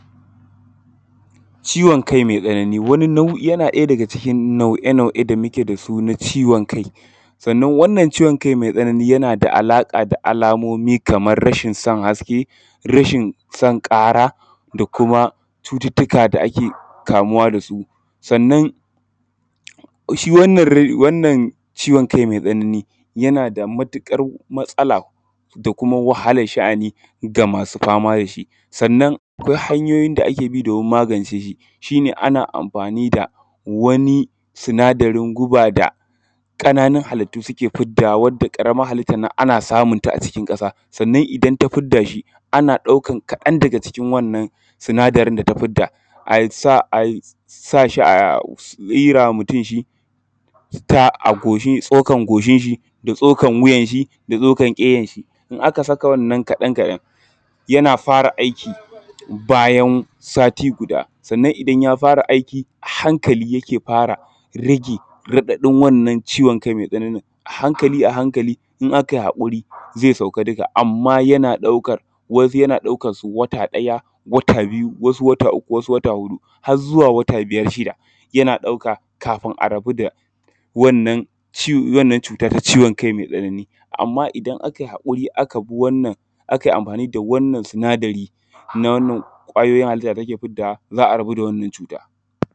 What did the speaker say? ciwon kai mai tsanani wani nau’in yana ɗaya daga cikin nau’e nau’e da muke da su na ciwon kai sannan wannan ciwon kai mai tsanani yana da alaƙa da alamomi kamar rashin son haske rashin son ƙara da kuma cututtuka da ake kamuwa da su sannan shi wannan ciwon kai mai tsanani yana da matuƙar matsala da kuma wahalar sha’ani ga masu fama da shi sannan akwai hanyoyi da ake bi domin magance shi shi ne ana amfani da wani sinadarin guba da ƙananun halittu suke fiddawa wadda ƙaramar halittar nan ana samunta a cikin ƙasa sannan idan ta fidda shi ana ɗaukan kaɗan daga cikin wannan sinadarin da ta fidda a sa a sa shi a tsira wa mutum shi a goshinshi tsokan goshinshi da tsokan wuyanshi da tsokan wuyanshi in aka saka wannan kaɗan kaɗan yana fara aiki bayan sati guda sannan idan ya fara aiki a hankali yake fara rage raɗaɗin wannan ciwon kai mai tsananin a hankali a hankali in aka yi haƙuri zai sauka duka amma yana ɗaukar wasu yana ɗaukarsu wata ɗaya wata biyu wasu wata uku wasu wata huɗu har zuwa wata biyar shida yana ɗauka kafin a rabu da wannan cuta ta ciwon kai mai tsanani amma idan aka yi haƙuri aka bi wannan aka yi amfani da wannan sinadari na wannan ƙwayoyin halitta da take fiddawa za a rabu da wannan cuta